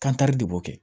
Kankari de b'o kɛ